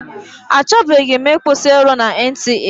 A chọbeghị m ịkwụsị ịrụ na NTA.